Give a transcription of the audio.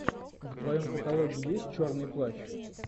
в твоем каталоге есть черный плащ